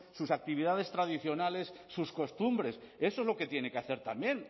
sus actividades tradicionales sus costumbres eso es lo que tiene que hacer también